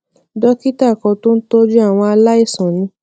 dókítà kan tó ń tójú àwọn aláìsàn ní